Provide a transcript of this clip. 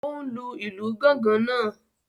O n lù ìlú gangan náà.